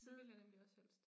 Det vil jeg nemlig også helst